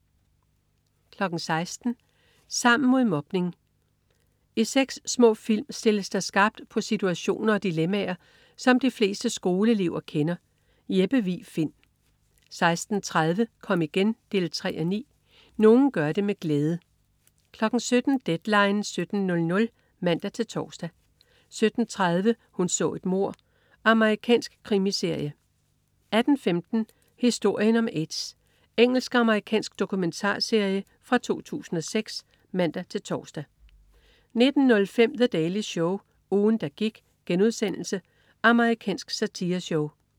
16.00 Sammen mod mobning. I seks små film stilles der skarpt på situationer og dilemmaer, som de fleste skoleelever kender. Jeppe Vig Find 16.30 Kom igen 3:9. Nogle gør det med glæde 17.00 Deadline 17.00 (man-tors) 17.30 Hun så et mord. Amerikansk krimiserie 18.15 Historien om AIDS. Engelsk-amerikansk dokumentarserie fra 2006 (man-tors) 19.05 The Daily Show. Ugen, der gik.* Amerikansk satireshow